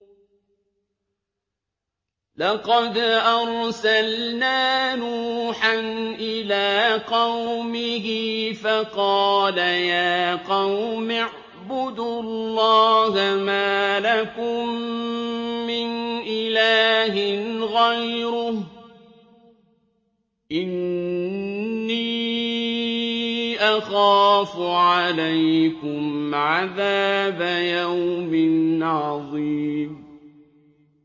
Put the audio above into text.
لَقَدْ أَرْسَلْنَا نُوحًا إِلَىٰ قَوْمِهِ فَقَالَ يَا قَوْمِ اعْبُدُوا اللَّهَ مَا لَكُم مِّنْ إِلَٰهٍ غَيْرُهُ إِنِّي أَخَافُ عَلَيْكُمْ عَذَابَ يَوْمٍ عَظِيمٍ